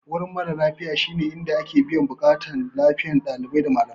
Wurin mara lafiya shine inda ake biyan buƙatun lafiyar dalibai da malamai.